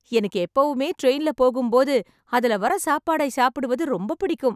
எனக்கு எப்பவுமே ட்ரெயின்ல போகும்போது அதுல வர சாப்பாடை சாப்பிடுவது ரொம்ப பிடிக்கும்